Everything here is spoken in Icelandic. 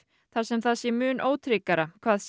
þar sem það sé mun ótryggara hvað